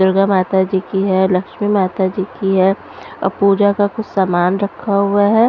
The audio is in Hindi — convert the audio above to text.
दुर्गा माता जी की है लक्ष्मी माता जी की है और पूजा का कुछ सामान रखा हुआ है --